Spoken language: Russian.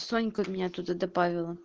санька меня туда добавила